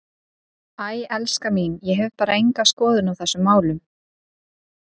Æ, elskan mín, ég hef bara enga skoðun á þessum málum.